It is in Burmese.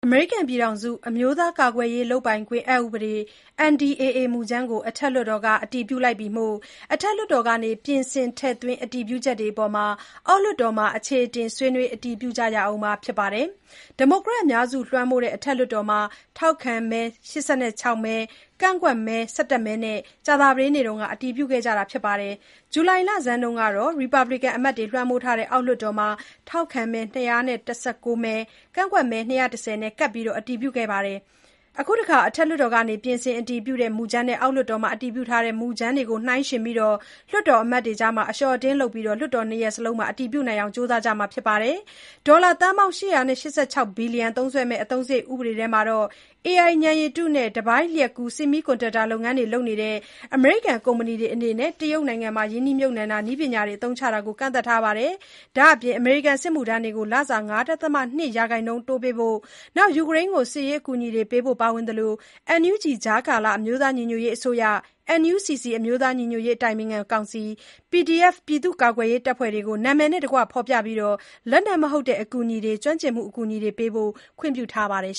အမေရိကန်ပြည်ထောင်စု အမျိုးသားကာကွယ်ရေးလုပ်ပိုင်ခွင့် အက်ဥပဒေ NDAA မူကြမ်းကို အထက်လွှတ်တော်က အတည်ပြုလိုက်ပြီမို့ အထက်လွှတ်တော်က ပြင်ဆင်ထည့်သွင်းအတည်ပြုချက်တွေအပေါ် အောက်လွှတ်တော်မှာ အခြေအတင် ဆွေးနွေးအတည်ပြုကြရဦးမှာဖြစ်ပါတယ်။ ဒီမိုကရက် အများစုလွှမ်းမိုးတဲ့ အထက်လွှတ်တော်မှာ ထောက်ခံမဲ ၈၆ မဲ ကန့်ကွက်မဲ ၁၁ မဲ နဲ့ ကြာသပတေးနေ့က အတည်ပြုခဲ့တာကြပါတယ်။ ဇူလိုင်လဆန်းတုန်းကတော့ Republican အမတ်တွေလွှမ်းမိုးထားတဲ့ အောက်လွှတ်တော်မှာ ထောက်ခံမဲ ၂၁၉ မဲ ကန့်ကွက်မဲ ၂၁၀ နဲ့ကပ်ပြီး အတည်ပြုခဲ့ပါတယ်။ အခုတခါ အထက်လွှတ်တော်က ပြင်ဆင်အတည်ပြုတဲ့ မူကြမ်းနဲ့ အောက်လွှတ်တော်မှာ အတည်ပြုထားတဲ့ မူကြမ်းတွေကို နှိုင်းယှဉ်ပြီး လွှတ်တော်အမတ်တွေ အလျော့အတင်းလုပ်ပြီး လွှတ်တော် ၂ ရပ်လုံးမှာ အတည်ပြုနိုင်ဖို့ ကြိုးစားကြရဦးမှာပါ။ ဒေါ်လာသန်းပေါင်း ၈၈၆ ဘီလျံသုံးစွဲမယ့် အသုံးစရိတ် ဥပဒေမှာ AI ဉာဏ်ရည်တုနဲ့ တပိုင်းလျှပ်ကူး Semiconductor လုပ်ငန်းတွေလုပ်တဲ့ အမေရိကန်ကုမ္ပဏီတွေအနေနဲ့ တရုတ်နိုင်ငံမှာ ရင်းနှီးမြှပ်နှံတာ၊ နည်းပညာတွေအသုံးချတာကို ကန့်သတ်ထားပါတယ်။ ဒါ့အပြင် အမေရိကန်စစ်မှုထမ်းတွေကို လစာ ၅.၂ ရာခိုင်နှုန်းအထိ တိုးပေးဖို့၊ ယူကရိန်းကို စစ်ရေးအကူအညီပေးဖို့တွေ ပါဝင်သလို၊NUG ကြားကာလအမျိုးသားညီညွတ်ရေးအစိုးရ၊ NUCC အမျိုးသားညီညွတ်ရေး အတိုင်ပင်ခံကောင်စီ၊ PDF ပြည်သူ့ကာကွယ်ရေးတပ်ဖွဲ့တွေကို အမည်နဲ့တကွ ဖော်ပြပြီး လက်နက်မဟုတ်တဲ့ အကူအညီတွေ၊ ကျွမ်းကျင်မှုအကူအညီတွေပေးဖို့ ခွင့်ပြုထားပါတယ်